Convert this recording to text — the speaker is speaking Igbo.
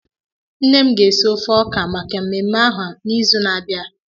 Nne m ga-esi ofe ọka maka mmemme ahụ n'izu na-abịa.